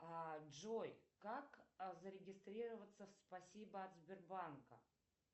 а джой как зарегистрироваться в спасибо от сбербанка